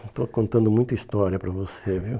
Eu estou contando muita história para você, viu?